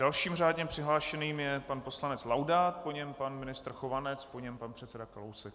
Dalším řádně přihlášeným je pan poslanec Laudát, po něm pan ministr Chovanec, po něm pan předseda Kalousek.